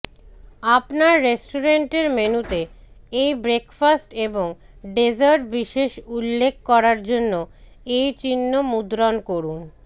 আপনার রেস্টুরেন্টের মেনুতে এই ব্রেকফাস্ট এবং ডেজার্ট বিশেষ উল্লেখ করার জন্য এই চিহ্ন মুদ্রণ করুন